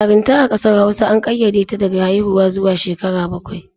Yarinta a ƙasar Hausa an ƙayyade ta daga haiwuwa zuwa shekara bakwai.